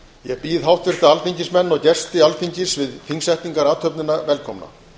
ég býð háttvirta alþingismenn og gesti alþingis við þingsetningarathöfnina velkomna